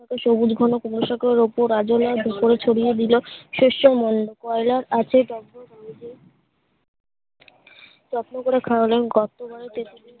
কোনোটাতে সবুজ ঘন কোনো শাকের উপর আজলের ছড়িয়ে দিলে শেষ কয়লার আঁচে টক বক ঘন্ধে যত্ন করে খাওয়ালেন